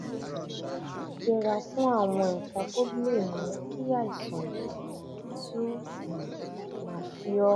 yẹra fún àwọn nǹkan tó lè mú kí àìsàn yìí tún um máa ṣe ọ́